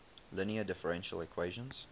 linear differential equation